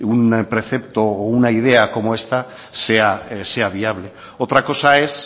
un precepto o una idea como esta sea viable otra cosa es